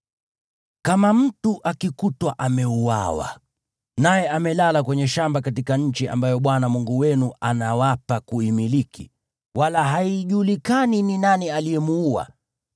Kama mtu akikutwa ameuawa, naye amelala kwenye shamba katika nchi ambayo Bwana Mungu wenu anawapa kuimiliki, wala haijulikani ni nani aliyemuua,